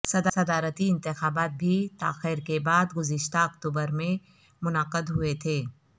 صدارتی انتخابات بھی تاخیر کے بعد گزشتہ اکتوبر میں منعقد ہوئے تھے